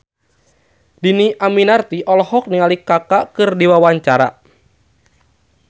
Dhini Aminarti olohok ningali Kaka keur diwawancara